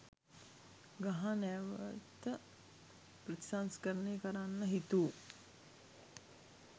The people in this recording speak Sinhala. ගහ නැවත ප්‍රතිසංස්කරණය කරන්න හිතු